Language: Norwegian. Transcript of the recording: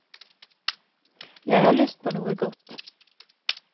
Jeg har lyst på noe godt.